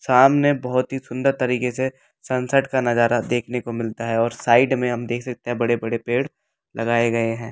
सामने बहुत ही सुंदर तरीके से सनसेट का नजारा देखने को मिलता है और साइड में हम देख सकते हैं बड़े-बड़े पेड़ लगाए गए हैं।